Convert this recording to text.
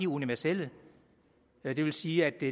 universelle og det vil sige at det